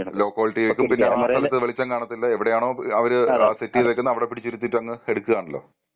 Law ക്വാളിറ്റിയിക്കും പിന്നെ ആ സ്ഥലത്ത് വെളിച്ചം കാണത്തില്ല എവിടെയാണോ അവര് സെറ്റ് യിതേക്കുന്നെ അവിടെ പിടിച്ച് ഇരുതീട്ട് അങ്ങ് എടുക്കാണലോ?